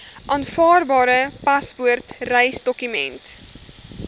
aanvaarbare paspoort reisdokument